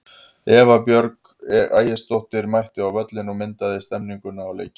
Eva Björk Ægisdóttir mætti á völlinn og myndaði stemmninguna og leikinn.